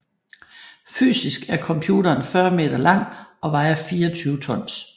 Fysisk er computeren 40 meter lang og vejer 24 tons